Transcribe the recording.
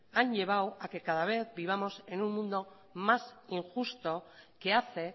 han llevado a que cada vez vivamos en un mundo más injusto que hace